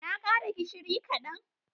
Na kara gishiri kadan.